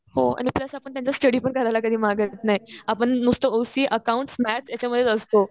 हो आणि प्लस आपण त्यांचा स्टडी पण करायला कधी मागत नाही. आपण नुसतं ओसी, अकाउंट्स, मॅथ्स याच्यामध्येच असतो.